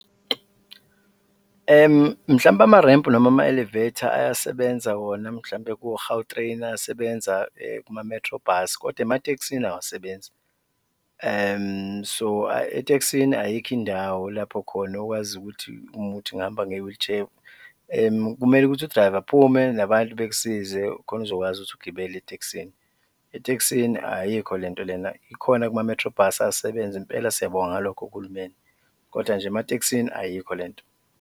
Mhlawumbe amarempu noma ama-elevator ayasebenza wona mhlawumbe ko-Gautrain, ayasebenza kuma-Metrobus kodwa ematekisini awasebenzi. So etekisini ayikho indawo lapho khona okwazi ukuthi uma kuwukuthi ngihamba nge-wheelchair, kumele ukuthi u-driver aphume nabantu bekusize khona uzokwazi ukuthi ugibele etekisini, etekisini ayikho le nto lena, ikhona kuma-Metrobus ayasebenza impela, siyabonga ngalokho kuhulumeni kodwa nje ematekisini ayikho le nto.